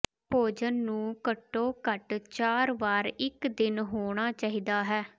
ਭੋਜਨ ਨੂੰ ਘੱਟੋ ਘੱਟ ਚਾਰ ਵਾਰ ਇੱਕ ਦਿਨ ਹੋਣਾ ਚਾਹੀਦਾ ਹੈ